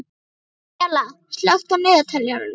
Daníella, slökktu á niðurteljaranum.